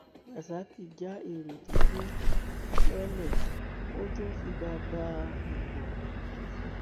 rasaq já èrò tó gbé lọlẹ ó tún fìbá bá a lò pọ nifó